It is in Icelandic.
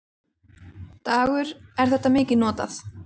Dagur: Er þetta mikið notað?